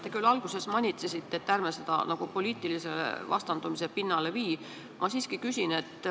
Te küll alguses manitsesite, et ärme seda poliitilise vastandumise pinnale vii, aga ma siiski küsin.